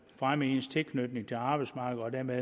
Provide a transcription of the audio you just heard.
fremme ens tilknytning til arbejdsmarkedet og dermed